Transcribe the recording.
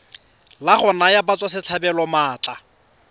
la go naya batswasetlhabelo maatla